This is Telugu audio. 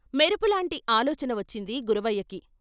మెరుపులాంటి ఆలోచన వచ్చింది గురవయ్యకి.